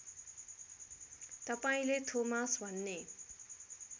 तपाईँले थोमास भन्ने